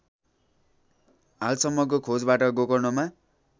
हालसम्मको खोजबाट गोकर्णमा